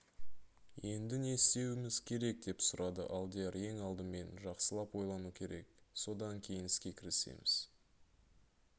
енді не істеуіміз керек деп сұрады алдияр ең алдымен жақсылап ойлану керек содан кейін іске кірісеміз